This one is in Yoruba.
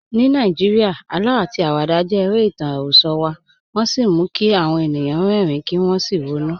Ní Nàìjíríà, àlọ́ àti àwàdà jẹ́ ara ìtàn àròsọ wa, wọ́n sì mú kí àwọn ènìyàn rẹ́rìn-ín kí wọ́n sì ronú.